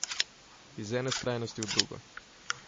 Iz ene skrajnosti v drugo.